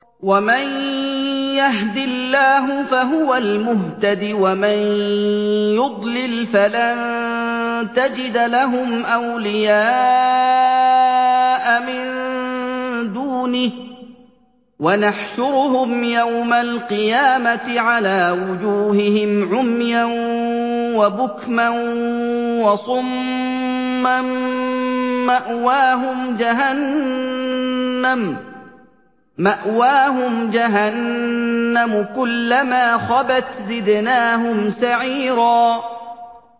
وَمَن يَهْدِ اللَّهُ فَهُوَ الْمُهْتَدِ ۖ وَمَن يُضْلِلْ فَلَن تَجِدَ لَهُمْ أَوْلِيَاءَ مِن دُونِهِ ۖ وَنَحْشُرُهُمْ يَوْمَ الْقِيَامَةِ عَلَىٰ وُجُوهِهِمْ عُمْيًا وَبُكْمًا وَصُمًّا ۖ مَّأْوَاهُمْ جَهَنَّمُ ۖ كُلَّمَا خَبَتْ زِدْنَاهُمْ سَعِيرًا